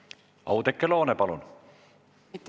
Oudekki Loone, palun!